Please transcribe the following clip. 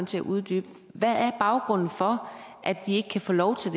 til at uddybe hvad er baggrunden for at de ikke kan få lov til